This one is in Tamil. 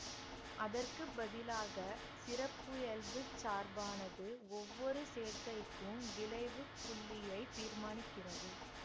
அதற்கு பதிலாக சிறப்பியல்புச் சார்பானது ஒவ்வொரு சேர்க்கைக்கும் விளைவு புள்ளியைத் தீர்மானிக்கிறது